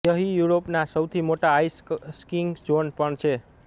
યહીં યુરોપના સૌથી મોટા આઈસ સ્કીંગ ઝોન પણ છે